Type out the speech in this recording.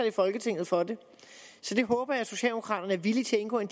i folketinget for det jeg håber socialdemokraterne er villige til at indgå i